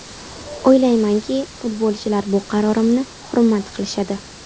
O‘ylaymanki, futbolchilar bu qarorimni hurmat qilishadi.